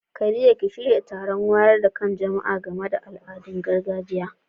Khadija ki shirya taron wayar da kan jama'a game da al'adun gargajiya.